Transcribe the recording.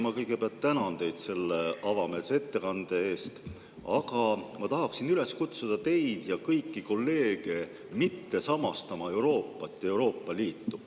Ma kõigepealt tänan teid selle avameelse ettekande eest, aga ma tahaksin üles kutsuda teid ja kõiki kolleege mitte samastama Euroopat ja Euroopa Liitu.